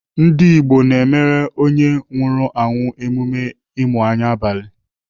Ndigbo na-emere onye nwụrụ anwụ emume ịmụ anya n'abalị.